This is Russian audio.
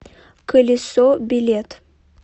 колесо билет